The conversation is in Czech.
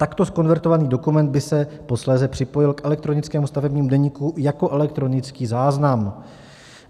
Takto zkonvertovaný dokument by se posléze připojil k elektronickému stavebnímu deníku jako elektronický záznam.